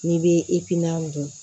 N'i bɛ i pipiniyɛri dun